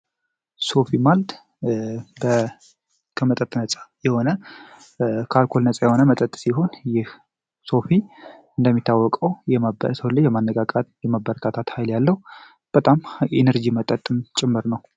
ሶፊ የመጠጥ አይነት ሲሆን ከአልኮል ነፃ የሆነ ሲሆን ይህ ሶፊ እንደሚታወቀው የሰውን ልጅ የማነቃቃት እና የባበረታታት ሀይል ያለው የኢነርጂ መጠጥ ጭምር ነው።